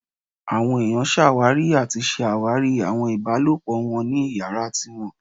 Awọn eniyan ṣawari ati ṣe awari awọn ibalopọ wọn ni iyara tiwọn